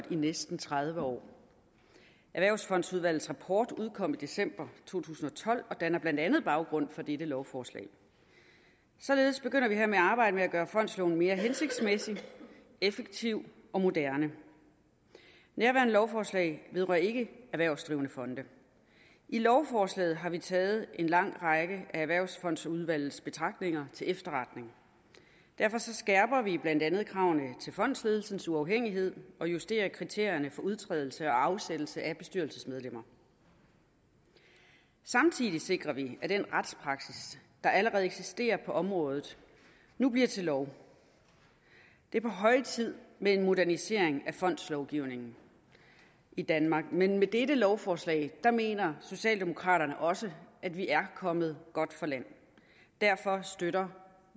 i næsten tredive år erhvervsfondsudvalgets rapport udkom i december to tusind og tolv og danner blandt andet baggrunden for dette lovforslag således begynder vi hermed arbejdet med at gøre fondsloven mere hensigtsmæssig effektiv og moderne nærværende lovforslag vedrører ikke erhvervsdrivende fonde i lovforslaget har vi taget en lang række af erhvervsfondsudvalgets betragtninger til efterretning derfor skærper vi blandt andet kravene til fondsledelsens uafhængighed og justerer kriterierne for udtrædelse og afsættelse af bestyrelsesmedlemmer samtidig sikrer vi at den retspraksis der allerede eksisterer på området nu bliver til lov det er på høje tid med en modernisering af fondslovgivningen i danmark men med dette lovforslag mener socialdemokraterne også at vi er kommet godt fra land derfor støtter